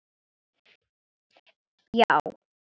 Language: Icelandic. Já!